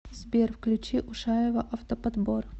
сбер включи ушаева автоподбор